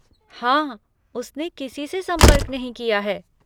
हाँ, उसने किसी से संपर्क नहीं किया है।